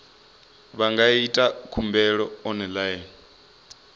vha nga ita khumbelo online